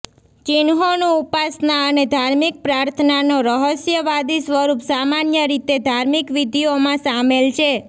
ચિહ્નોનું ઉપાસના અને ધાર્મિક પ્રાર્થનાનો રહસ્યવાદી સ્વરૂપ સામાન્ય રીતે ધાર્મિક વિધિઓમાં સામેલ છે